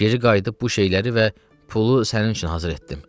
Geri qayıdıb bu şeyləri və pulu sənin üçün hazır etdim.